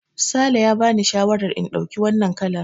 Sale ya bani shawarar in ɗauki wannan kalar.